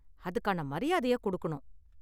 அதுக்கான மரியாதையை கொடுக்கணும்.